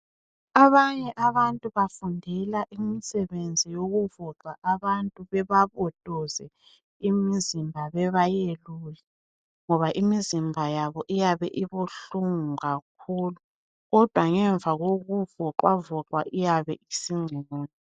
Abanye abantu bafundela imisebenzi yokuvoxa abantu bebabotoze imizimba bebayelule ngoba imizimba yabo iyabe ibuhlungu kakhulu kodwa ngemva kokuvoxwavoxwa iyabe isingcono.